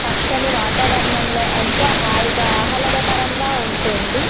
పచ్చని వాతావరణంలో ఎంతో హాయిగా ఆహ్లాదకరంగాను ఉంటుంది.